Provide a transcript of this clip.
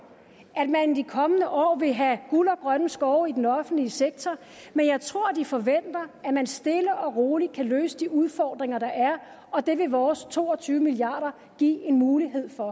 at man de kommende år vil have guld og grønne skove i den offentlige sektor men jeg tror de forventer at man stille og roligt kan løse de udfordringer der er og det vil vores to og tyve milliard give en mulighed for